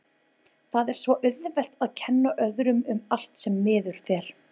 Það er svo auðvelt að kenna öðrum um allt sem miður fer.